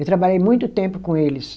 Eu trabalhei muito tempo com eles.